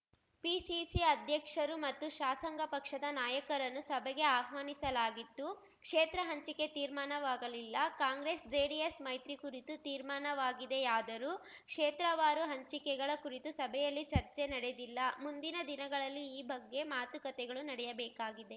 PCC ಅಧ್ಯಕ್ಷರು ಮತ್ತು ಶಾಸಂಗ ಪಕ್ಷದ ನಾಯಕರನ್ನು ಸಭೆಗೆ ಅಹ್ವಾನಿಸಲಾಗಿತ್ತು ಕ್ಷೇತ್ರ ಹಂಚಿಕೆ ತೀರ್ಮಾನವಾಗಲಿಲ್ಲ ಕಾಂಗ್ರೆಸ್‌ ಜೆಡಿಎಸ್‌ ಮೈತ್ರಿ ಕುರಿತು ತೀರ್ಮಾನವಾಗಿದೆಯಾದರೂ ಕ್ಷೇತ್ರವಾರು ಹಂಚಿಕೆಗಳ ಕುರಿತು ಸಭೆಯಲ್ಲಿ ಚರ್ಚೆ ನಡೆದಿಲ್ಲ ಮುಂದಿನ ದಿನಗಳಲ್ಲಿ ಈ ಬಗ್ಗೆ ಮಾತುಕತೆಗಳು ನಡೆಯಬೇಕಾಗಿದೆ